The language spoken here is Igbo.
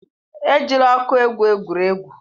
Ejila ọkụ egwu egwuregwu.